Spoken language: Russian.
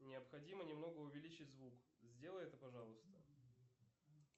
необходимо немного увеличить звук сделай это пожалуйста